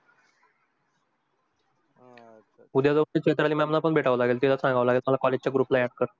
उद्या चित्रां mam पण भेटावे लागेल तिला सांगावं लागेल मला college च्या group ला add कर.